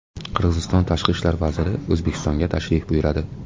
Qirg‘iziston tashqi ishlar vaziri O‘zbekistonga tashrif buyuradi.